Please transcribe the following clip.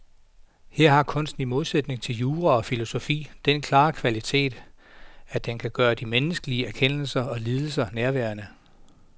Her har kunsten i modsætning til jura og filosofi den klare kvalitet, at den kan gøre de menneskelige erkendelser og lidelser nærværende.